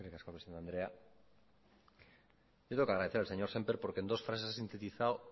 eskerrik asko presidente andrea yo tengo que agradecer al señor sémper porque en dos frases a sintetizado